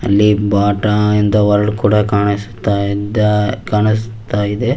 ಅಲ್ಲಿ ಬಾಟ ಎಂಬ ವರ್ಡ್ ಕೂಡ ಕಾಣಿಸ್ತಾ ಇದ ಕಾಣಿಸ್ತಾ ಇದೆ.